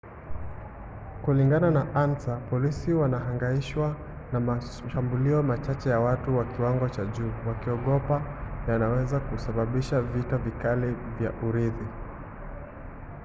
kulingana na ansa polisi walihangaishwa na mashambulio machache ya watu wa kiwango cha juu wakiogopa yanaweza kusababisha vita kamili vya urithi